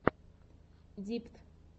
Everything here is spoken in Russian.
дипт